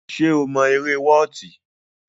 Ṣé o mọ eré wọọti.